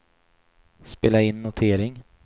spela in notering